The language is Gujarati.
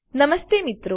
નમસ્તે મિત્રો